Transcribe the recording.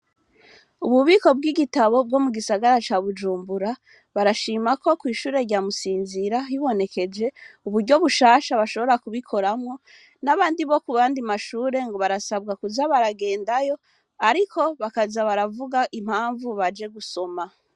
Ububiko bw'ibitabo bwo mugisagara ca Bujumbura, barashima ko kw'ishure rya Musinzìra, hibonekeje uburyo bushasha bashobora kubikoramwo, n'abandi bo kuyandi mashure ngo barasabwa kuja baragendayo, ariko bakaja baravuga impamvu baje gusoma.